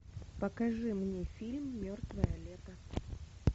покажи мне фильм мертвое лето